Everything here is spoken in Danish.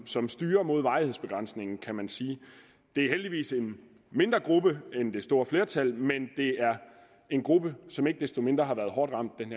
som styrer mod varighedsbegrænsningen kan man sige det er heldigvis en mindre gruppe end det store flertal men det er en gruppe som ikke desto mindre har været hårdt ramt den